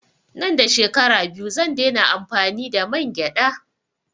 Nan da shekara biyu zan dai na amfani da mangyaɗa